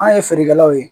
An ye feerekɛlaw ye